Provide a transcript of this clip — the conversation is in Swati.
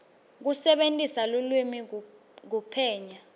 kusebentisa lulwimi kuphenya